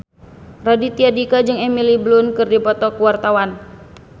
Raditya Dika jeung Emily Blunt keur dipoto ku wartawan